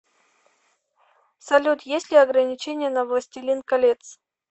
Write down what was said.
салют есть ли ограничения на властелин колец